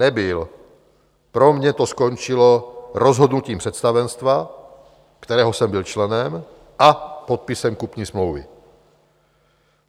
Nebyl, pro mě to skončilo rozhodnutím představenstva, kterého jsem byl členem, a podpisem kupní smlouvy.